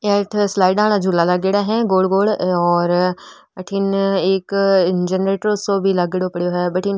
यहाँ एक स्लइडों वाला झूला लागेड़ा है गोल गोल और अठीने एक जेनेरेटर सो भी लागेडो पडयो है भटीन --